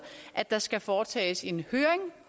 at der skal foretages en høring